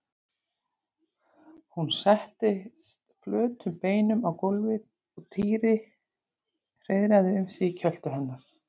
Hún settist flötum beinum á gólfið og Týri hreiðraði um sig í kjöltu hennar.